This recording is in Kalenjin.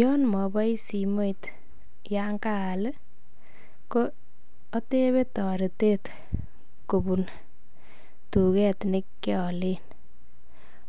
YOn mobois simoit yan kaal ko otebe toretet kobun tuget ne kiolen,